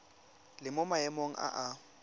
le mo maemong a a